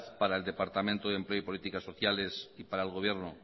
para el departamento de empleo y política sociales y para el gobierno